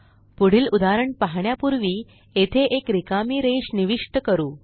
पुढील उदाहरण पाहण्यापूर्वी येथे एक रिकामी रेष निविष्ट करू